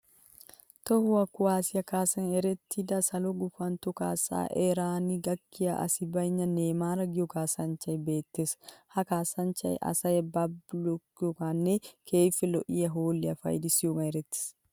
Toho kuwaassiya kaassan erettida salo gufantton kaassa eran gakkiya asi bayinna Neymaar giyo kaassanchchay beettees. Ha kaassanchchay asaa balibakkiyogaaninne keehippe lo'iya hoolliya payidissiyogan erettees.